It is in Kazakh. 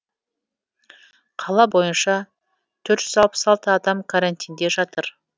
қала бойынша төрт жүз алпыс алты адам карантинде жатыр